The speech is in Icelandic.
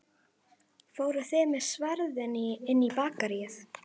Fóruð þið með sverðin inn í Bakaríið?